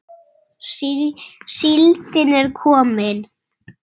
Síldin er komin!